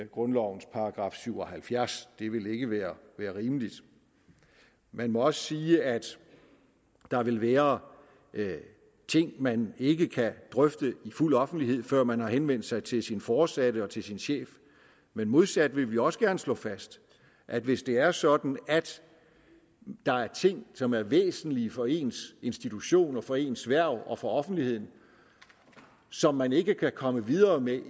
grundlovens § syv og halvfjerds det ville ikke være rimeligt vi må også sige at der vil være ting man ikke kan drøfte i fuld offentlighed før man har henvendt sig til sin foresatte og til sin chef men modsat vil vi også gerne slå fast at hvis det er sådan at der er ting som er væsentlige for ens institution for ens hverv og for offentligheden som man ikke kan komme videre med